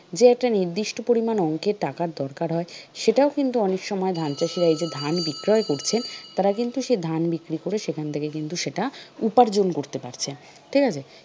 যে একটা নির্দিষ্ট পরিমাণ অঙ্কের টাকার দরকার হয় সেটাও কিন্তু অনেক সময় ধান চাষীরা এই যে ধান বিক্রয় করছেন তারা কিন্তু সেই ধান বিক্রি করে সেখান থেকে কিন্তু সেটা উপার্জন করতে পারছেন ঠিক আছে?